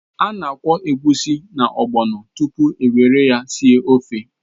A ga-akwọ egusi na ogbọno tupu e were ha sie ofe.